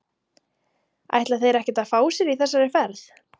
Ætla þeir ekkert að fá sér í þessari ferð??